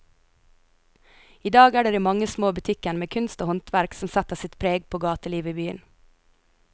I dag er det de mange små butikkene med kunst og håndverk som setter sitt preg på gatelivet i byen.